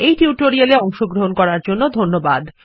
এই টিউটোরিয়াল এ অংশগ্রহন করার জন্য ধন্যবাদ